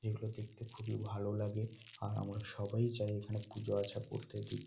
এগুলো দেখতে খুবই ভালো লাগে। আর আমরা সবাই-ই যাই এখানে পুজো আচ্ছা করতে দিতে।